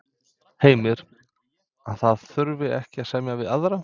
Heimir: Að það þurfi ekkert að semja við aðra?